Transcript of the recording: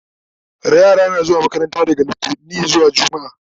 yara na zuwa makaranta daga littani zuwa jumma'a